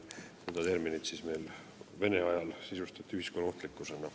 Seda terminit sisustati Vene ajal ühiskonnaohtlikkusena.